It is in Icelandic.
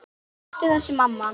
Hættu þessu, mamma!